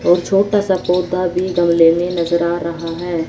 और छोटा सा पौधा भी गमले में नजर आ रहा है।